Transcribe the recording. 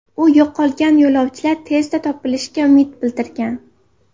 U yo‘qolgan yo‘lovchilar tezda topilishiga umid bildirgan.